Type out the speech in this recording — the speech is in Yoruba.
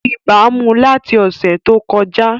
Ibà mu láti ọṣẹ tó kọjá